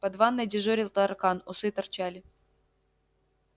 под ванной дежурил таракан усы торчали